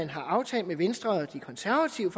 har aftalt med venstre og konservative